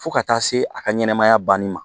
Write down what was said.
Fo ka taa se a ka ɲɛnɛmaya banni ma